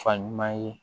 Fa ɲuman ye